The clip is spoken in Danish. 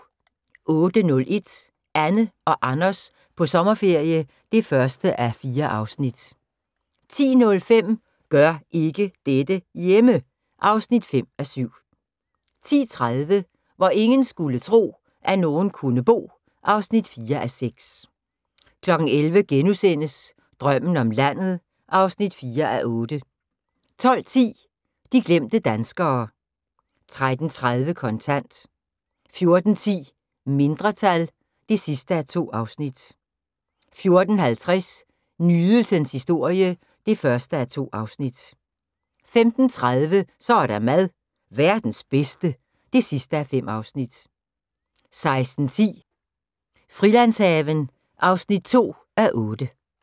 08:01: Anne og Anders på sommerferie (1:4) 10:05: Gør ikke dette hjemme! (5:7) 10:30: Hvor ingen skulle tro, at nogen kunne bo (4:6) 11:00: Drømmen om landet (4:8)* 12:10: De glemte danskere 13:30: Kontant 14:10: Mindretal (2:2) 14:50: Nydelsens historie (1:2) 15:30: Så er der mad - verdens bedste (5:5) 16:10: Frilandshaven (2:8)